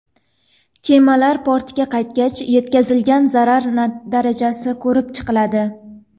Kemalar portga qaytgach, yetkazilgan zarar darajasi ko‘rib chiqiladi.